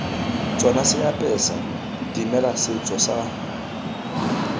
tsona seapesa dimela setso sa